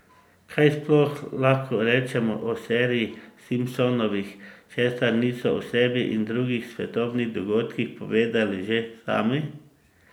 Kaj sploh lahko rečemo o seriji Simpsonovi, česar niso o sebi in drugih svetovnih dogodkih povedali že sami?